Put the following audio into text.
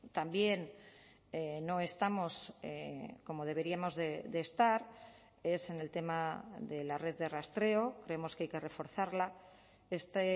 también no estamos como deberíamos de estar es en el tema de la red de rastreo creemos que hay que reforzarla este